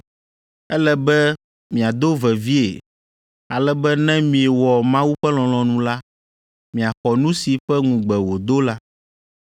Ele be miado vevie, ale be ne miewɔ Mawu ƒe lɔlɔ̃nu la, miaxɔ nu si ƒe ŋugbe wòdo la.